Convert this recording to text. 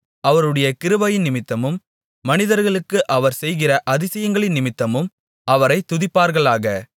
அவருடைய கிருபையினிமித்தமும் மனிதர்களுக்கு அவர் செய்கிற அதிசயங்களினிமித்தமும் அவரைத் துதிப்பார்களாக